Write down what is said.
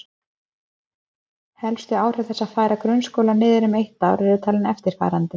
Helstu áhrif þess að færa grunnskóla niður um eitt ár eru talin eftirfarandi